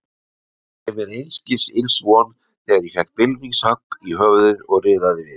Átti ég mér einskis ills von þegar ég fékk bylmingshögg í höfuðið og riðaði við.